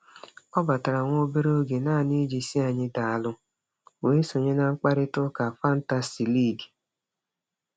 Ọ batara nwa obere oge naanị iji sị anyị daalụ, wee sonye na mkparịtaụka fantasi liigi.